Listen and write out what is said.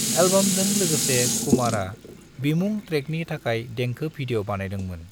एल्बमजों लोगोसे कुमारा बिमुं ट्रेकनि थाखाय देंखो भिडिय' बानायदोंमोन।